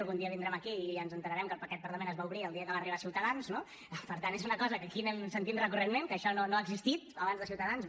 algun dia vindrem aquí i ens assabentarem que aquest parlament es va obrir el dia que va arribar ciutadans no per tant és una cosa que aquí anem sentint recurrentment que això no ha existit abans de ciutadans